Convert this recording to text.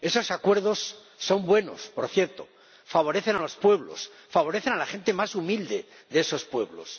Esos acuerdos son buenos, por cierto, favorecen a los pueblos, favorecen a la gente más humilde de esos pueblos.